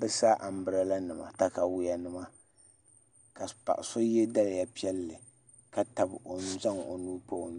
bi sa anbirɛla nima katawiya nima ka paɣa so yɛ daliya piɛlli ka zaŋ o nuu pa i nyoɣani